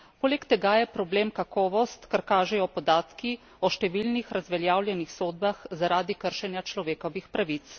Poleg tega je problem kakovost, kar kažejo podatki o številnih razveljavljenih sodbah zaradi kršenja človekovih pravic.